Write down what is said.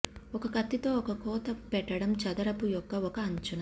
ఒక కత్తితో ఒక కోత పెట్టడం చదరపు యొక్క ఒక అంచున